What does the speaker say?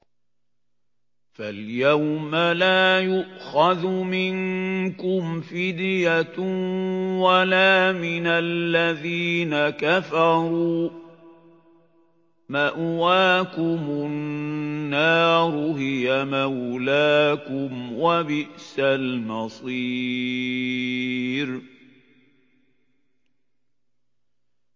فَالْيَوْمَ لَا يُؤْخَذُ مِنكُمْ فِدْيَةٌ وَلَا مِنَ الَّذِينَ كَفَرُوا ۚ مَأْوَاكُمُ النَّارُ ۖ هِيَ مَوْلَاكُمْ ۖ وَبِئْسَ الْمَصِيرُ